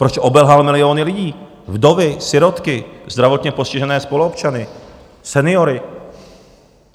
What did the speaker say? Proč obelhal miliony lidí, vdovy, sirotky, zdravotně postižené spoluobčany, seniory?